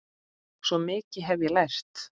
Svo mikið hef ég lært.